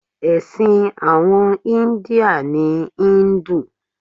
Èsìn àwon India ni Hindu